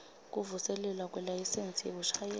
kuvuselelwa kwelayisensi yekushayela